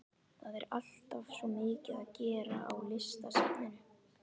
Það er alltaf svo mikið að gera á Listasafninu.